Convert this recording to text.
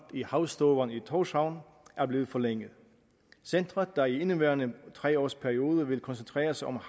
i havstovan i tórshavn er blevet forlænget centeret der i indeværende tre års periode vil koncentrere sig om